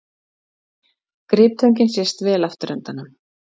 Griptöngin sést vel afturendanum.